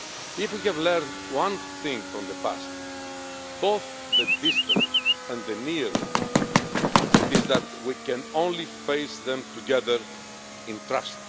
If we have learned one thing from the past both the distant and the near past it is that we can only face them together, in trust.